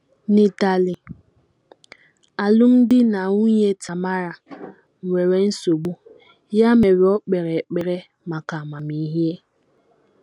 N’Itali, alụmdi na nwunye Tamara nwere nsogbu, ya mere, o kpere ekpere maka amamihe.